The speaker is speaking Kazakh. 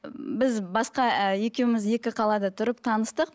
біз басқа ііі екеуміз екі қалада тұрып таныстық